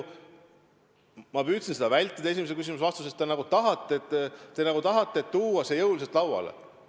Ma püüdsin seda vältida esimese küsimuse vastuses, te nagu tahate tuua selle jõuliselt lauale.